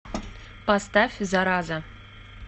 поставь зараза